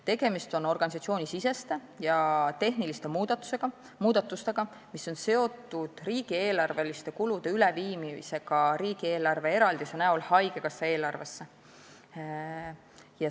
Tegemist on organisatsioonisiseste ja tehniliste muudatustega, mis on seotud riigieelarveliste kulude üleviimisega riigieelarve eraldise kujul haigekassa eelarvesse.